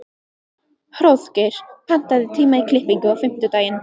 Hróðgeir, pantaðu tíma í klippingu á fimmtudaginn.